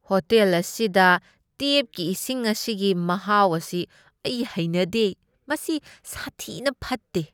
Hotel ꯑꯁꯤꯗ ꯇꯦꯞꯒꯤ ꯏꯁꯤꯡ ꯑꯁꯤꯒꯤ ꯃꯍꯥꯎ ꯑꯁꯤ ꯑꯩ ꯍꯩꯅꯗꯦ, ꯃꯁꯤ ꯁꯥꯊꯤꯕ ꯐꯠꯇꯦ꯫